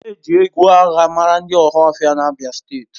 E ji egwu agha mara ndị Ohaofia na abia steeti.